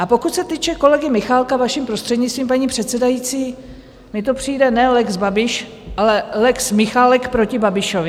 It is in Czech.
A pokud se týče kolegy Michálka, vaším prostřednictvím, paní předsedající, mně to přijde ne lex Babiš, ale lex Michálek proti Babišovi.